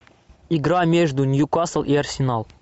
игра между ньюкасл и арсенал